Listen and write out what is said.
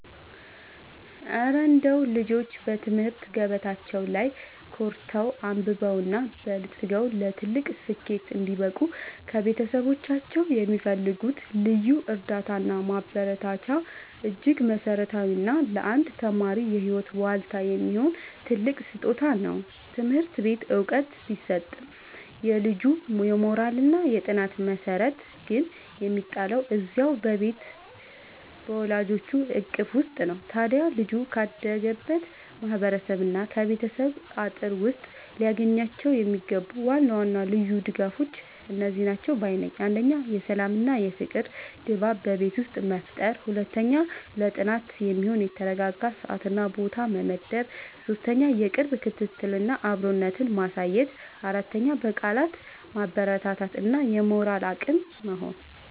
እረ እንደው ልጆች በትምህርት ገበታቸው ላይ ኮርተው፣ አብበውና በልጽገው ለትልቅ ስኬት እንዲበቁ ከቤተሰቦቻቸው የሚፈልጉት ልዩ እርዳታና ማበረታቻማ እጅግ መሠረታዊና ለአንድ ተማሪ የህይወት ዋልታ የሚሆን ትልቅ ስጦታ ነው! ትምህርት ቤት ዕውቀት ቢሰጥም፣ የልጁ የሞራልና የጥናት መሠረት ግን የሚጣለው እዚያው በቤቱ በወላጆቹ እቅፍ ውስጥ ነው። ታዲያ ልጆች ካደጉበት ማህበረሰብና ከቤተሰብ አጥር ውስጥ ሊያገኟቸው የሚገቡ ዋና ዋና ልዩ ድጋፎች እነዚህ ናቸው ባይ ነኝ፦ 1. የሰላምና የፍቅር ድባብ በቤት ውስጥ መፍጠር 2. ለጥናት የሚሆን የተረጋጋ ሰዓትና ቦታ መመደብ 3. የቅርብ ክትትልና አብሮነት ማሳየት 4. በቃላት ማበረታታት እና የሞራል አቅም መሆን